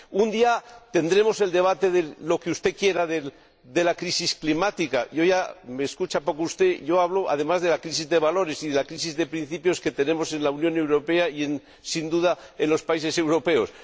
Un día tendremos el debate de lo que usted quiera, de la crisis climática y me escucha poco usted además de la crisis de valores y de la crisis de principios que tenemos en la Unión Europea y, sin duda, en los países europeos.